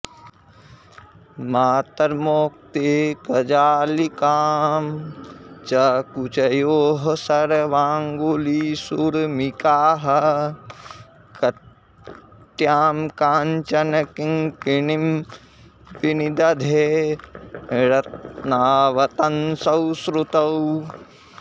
मातर्मौक्तिकजालिकां च कुचयोः सर्वाङ्गुलीषूर्मिकाः कटयां काञ्चनकिङ्किणीं विनिदधे रत्नावतंसौ श्रुतौ